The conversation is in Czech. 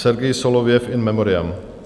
Sergěj Solovjev, in memoriam.